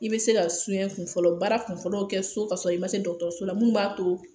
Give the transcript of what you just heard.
I bɛ se ka su kunfɔlɔ baara kunfɔlɔ kɛ so kasɔrɔ i ma se dɔgɔtɔrɔso la min b'a to